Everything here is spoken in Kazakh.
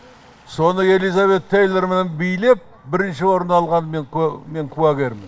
соны элизабет тейлормен билеп бірінші орын алғанына мен куә куәгермін